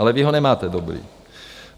Ale vy ho nemáte dobrý.